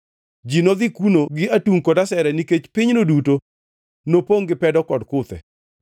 Ji nodhi kuno gi atungʼ kod asere nikech pinyno duto nopongʼ gi pedo kod kuthe.